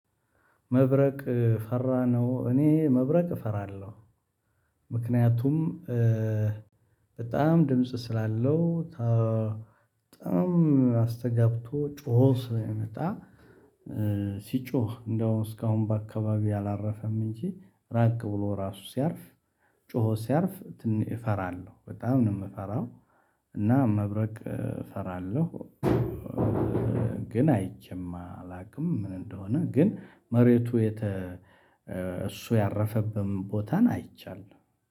መብረቅ ፈራነው እኔ መብረቅ እፈራለሁ። ምክንያቱም በጣም ድምጽ ስላለው በጣም አስተጋብቶ ጮሆ ስለመጣ። ሲጮህ እንደውም እስካሁን በአካባቢው አላረፈም። እንጂ ራቅ ብሎ ራሱ ሲያርፍ ጮሆ ሲያርፍ ትንሽ እፈራለሁ በጣም ነው የምፈራው። እና መብረቅ እፈራለሁ። ግን አይቼም አላውቅም ምን እንደሆነ ግን መሬቱ የተ እሱ ያረፈብም ቦታን አይቻለው